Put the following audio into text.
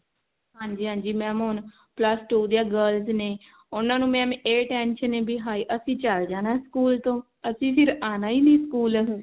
ਹਾਂਜੀ ਹਾਂਜੀ mam ਹੁਣ plus two ਦੀਆਂ girls ਨੇ ਉਹਨਾਂ ਨੂੰ mam ਇਹ tension ਆ ਬੀ ਹਾਏ ਅਸੀਂ ਚਲ ਜਾਣਾ ਸਕੂਲ ਤੋਂ ਅਸੀਂ ਫ਼ੇਰ ਆਉਣਾ ਹੀ ਨਹੀ ਸਕੂਲ